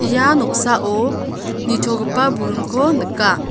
ia noksao nitogipa buringko nika.